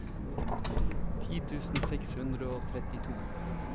ti tusen seks hundre og trettito